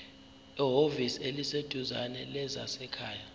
ehhovisi eliseduzane lezasekhaya